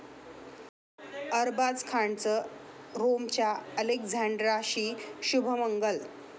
अरबाज खानचं रोमच्या अलेक्झांड्राशी शुभमंगल